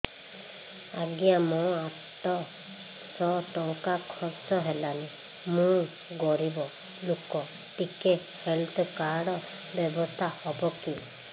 ଆଜ୍ଞା ମୋ ଆଠ ସହ ଟଙ୍କା ଖର୍ଚ୍ଚ ହେଲାଣି ମୁଁ ଗରିବ ଲୁକ ଟିକେ ହେଲ୍ଥ କାର୍ଡ ବ୍ୟବସ୍ଥା ହବ କି